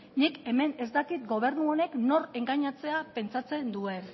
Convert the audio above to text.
nik hemen ez dakit gobernu honek nor engainatzea pentsatzen duen